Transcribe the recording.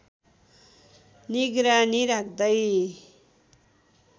निगरानी राख्दै